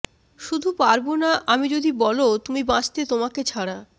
শুধু পারবোনা আমি যদি বলো তুমি বাঁচতে তোমাকে ছাড়া